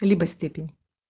либо степень